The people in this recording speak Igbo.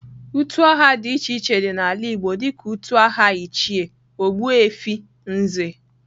Utu aha di iche iche di n'ala igbo dika utu aha ichie, ogbuefi, Nze.